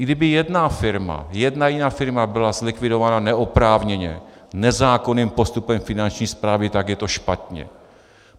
I kdyby jedna firma, jedna jediná firma byla zlikvidována neoprávněně, nezákonným postupem Finanční správy, tak je to špatně.